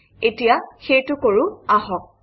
এতিয়া সেইটো কৰোঁ আহক